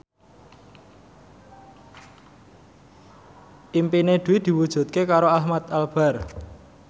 impine Dwi diwujudke karo Ahmad Albar